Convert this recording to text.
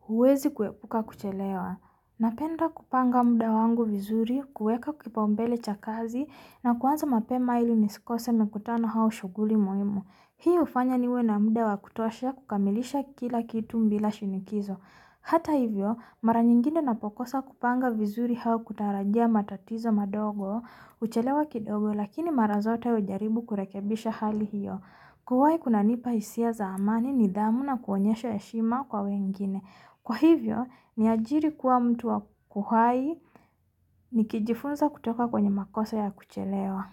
huwezi kuepuka kuchelewa. Napenda kupanga muda wangu vizuri, kuweka kipau mbele cha kazi na kuanza mapema ili nisikose mikutano hau shughuli muimu. Hii hufanya niwe na muda wa kutosha kukamilisha kila kitu mbila shinikizo. Hata hivyo, mara nyingine napokosa kupanga vizuri hau kutarajia matatizo madogo, kuchelewa kidogo, lakini mara zote hujaribu kurekebisha hali hiyo. Kuwai kuna nipa hisia za amani nidhamu na kuonyesha heshima kwa wengine. Hhh Kwa hivyo, ni ajiri kuwa mtu kuhai, nikijifunza kutoka kwenye makoso ya kuchelewa.